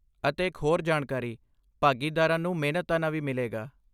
ਅਤੇ ਇੱਕ ਹੋਰ ਜਾਣਕਾਰੀ, ਭਾਗੀਦਾਰਾਂ ਨੂੰ ਮਿਹਨਤਾਨਾ ਵੀ ਮਿਲੇਗਾ।